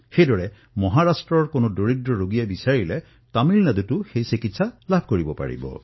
সেইদৰে মহাৰাষ্ট্ৰৰ এজন দুখীয়াই তামিলনাডুতো চিকিৎসাৰ সুবিধা লাভ কৰিব পাৰে